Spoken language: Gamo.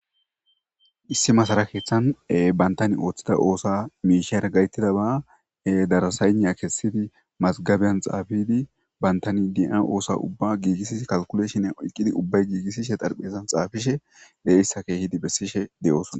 Issi masara keththanni banittanni oththido oththuwa mishshara gaaketidoba darasengha kessidi masigabiyanni xaafidi banitanni de'oyo oththuwa ubba gigisiddi kalikuleshinne ubayi gigiseshshe de'izoyisata besishshe de'ees.